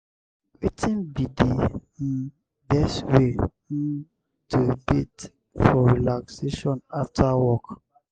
wetin be di um best way um to bathe for relaxtion after work?